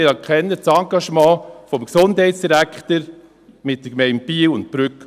Ich anerkenne das Engagement des Gesundheitsdirektors in Biel und Brügg.